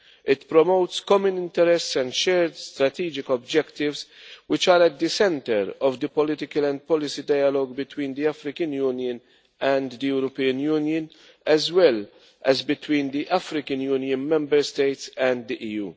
It promotes common interests and shared strategic objectives, which are at the centre of the political and policy dialogue between the African Union and the European Union, as well as between the African Union member states and the